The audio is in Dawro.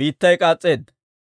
biittay k'aas's'eedda.